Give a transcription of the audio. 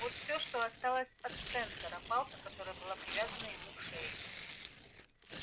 вот всё что осталось от спэнсера палка которая была привязана ему к шее